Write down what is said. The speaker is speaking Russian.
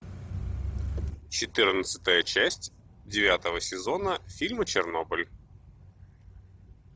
четырнадцатая часть девятого сезона фильма чернобыль